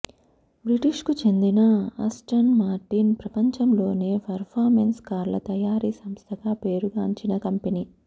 బ్రిటిష్కు చెందిన Aston Martin ప్రపంచంలోనే performance కార్ల తయారీ సంస్థగా పేరుగాంచిన కంపెనీ